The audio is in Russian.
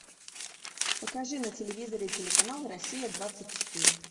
покажи на телевизоре телеканал россия двадцать четыре